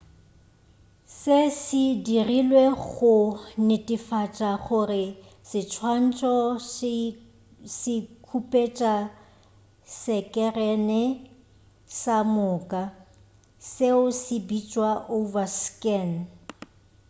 se se dirilwe go netefatša gore seswantšho se khupetša sekerene ka moka seo se bitšwa overscan